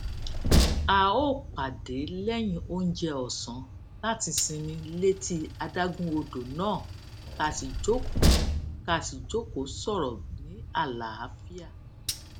a ó pàdé lẹyìn oúnjẹ ọsán láti sinmi létí adágún odo náà ká sì jókòó ká sì jókòó sòrò ní àlàáfíà